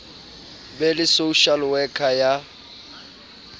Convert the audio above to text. be le social worker ya